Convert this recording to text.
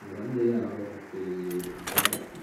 Iruhande y'aho hateye ivyatsi.